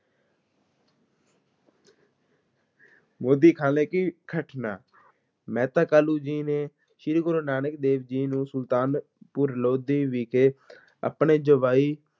ਮੋਦੀਖ਼ਾਨੇ ਕੀ ਘਟਨਾ, ਮਹਿਤਾ ਕਾਲੂ ਜੀ ਨੇ ਸ਼੍ਰੀ ਗੁਰੂ ਨਾਨਕ ਦੇਵ ਜੀ ਨੂੰ ਸੁਲਤਾਨਪੁਰ ਲੋਧੀ ਵਿਖੇ ਆਪਣੇ ਜਵਾਈ